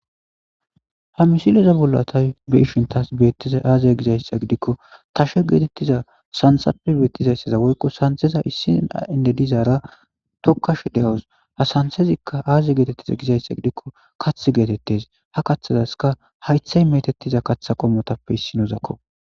Ha misileza bolla tayo be'eyshshan tasi be'ettiza aaze giza giddiko, tashe getetida santsappe be'ettiza woyko santseza issi eennde zoko zara tokkashe de'awus. Ha santsazikka aaze getitiza giza giddiko, kathe getittees. Ha kathasikka haytsay metettiza katsako motappe issino zakko.